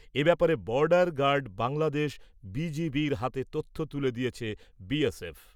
এ ব্যাপারে border guard Bangladesh B G বির হাতে তথ্য তুলে দিয়েছে বি এস এফ।